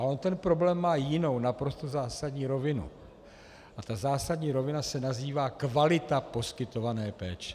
A on ten problém má jinou, naprosto zásadní rovinu a ta zásadní rovina se nazývá kvalita poskytované péče.